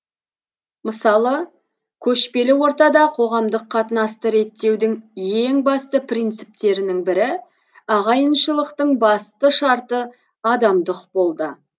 мысалы көшпелі ортада қоғамдық қатынасты реттеудің ең басты принциптерінің бірі ағайыншылықтың басты шарты адамдық болды